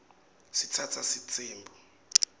sitsatsa sitsembu